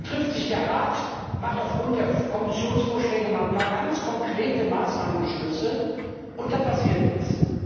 Dann trifft sich der Rat, beschließt aufgrund der Kommissionsvorschläge ein paar ganz konkrete Maßnahmen, und dann passiert nichts.